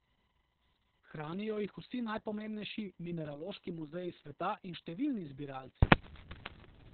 Hranijo jih vsi najpomembnejši mineraloški muzeji sveta in številni zbiralci.